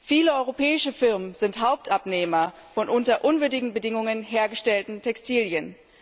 Viele europäische Firmen sind Hauptabnehmer von unter unwürdigen Bedingungen hergestellten Textilien.